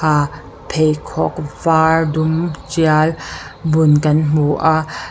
pheikhawk var dum tial bun kan hmu a.